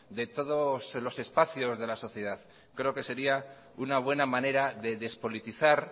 de todos los espacios de la sociedad creo que sería una buena manera de despolitizar